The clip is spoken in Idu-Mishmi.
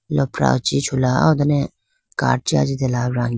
lopra chi chula aw done cart chi ajitela range.